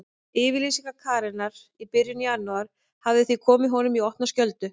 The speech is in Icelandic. Yfirlýsing Karenar í byrjun janúar hafði því komið honum í opna skjöldu.